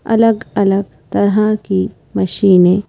अलग-अलग तरह की मशीनें --